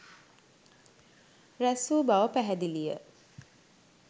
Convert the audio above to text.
රැස්වූ බව පැහැදිලිය.